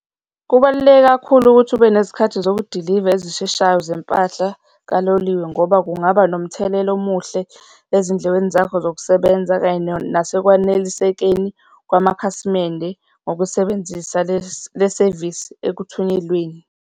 Kubaluleke kakhulu ukuthi ube nezikhathi zokudiliva ezisheshayo zempahla kaloliwe ngoba kungaba nomthelela omuhle ezindlekweni zakho zokusebenza kanye nasekwanelisekeni kwamakhasimende ngokusebenzisa le le sevisi ekuthunyelweni.